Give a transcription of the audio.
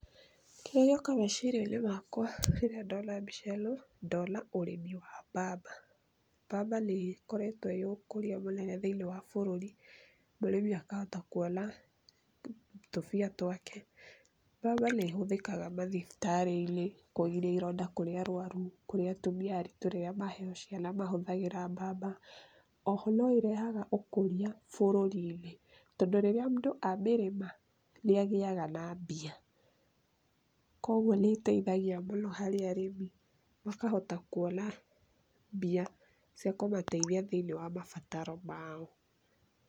kira ngioka meciriani makwa riria ndona mbica ino ndona urimi wa mbamba. Mbamba niekoritwo iiukuria munene thiini wa bururi murimi akahota kuona tumbia twake. Mbamba nihuthikanga mathifitarini kugiria ironda kuri arwaru, kuri atumia aritu riria maheo ciana mahuthangira mbamba oho noirehanga ukuria bururini tondu riria mundu amerima niangeaga na mbia konguo niteithagia mno hari arimi makahota kuona mbia cia kumateithia thiini wa mabataro mao.